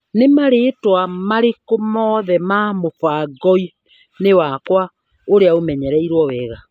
Nĩ marĩtwa marĩkũ mothe me mũbango-inĩ wakwa ũrĩa ũmenyereirwo wega.